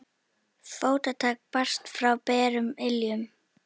Fótatak barst frá berum iljum.